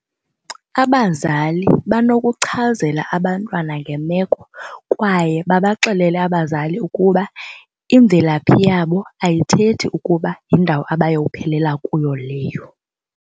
Abazali banokuchazela abantwana ngemeko kwaye babaxelele abazali ukuba imvelaphi yabo ayithethi ukuba yindawo abayophelela kuyo leyo.